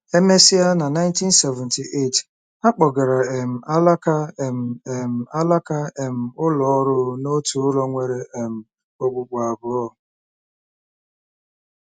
E mesịa, na 1978, a kpọgara um alaka um um alaka um ụlọ ọrụ n’otu ụlọ nwere um okpukpu abụọ.